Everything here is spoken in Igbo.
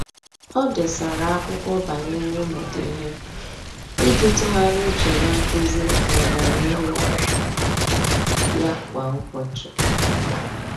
Ọ́ dèsara ákwụ́kwọ́ banyere ị́mụ́ta ihe iji tụ́gharị́a úchè na nkuzi na ọ́gànihu ya kwa ụ́bọ̀chị̀.